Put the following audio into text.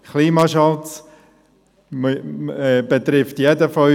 Klimaschutz betrifft jeden von uns.